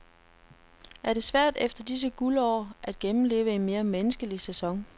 Er det svært, efter disse guldår, at gennemleve en mere menneskelig sæson.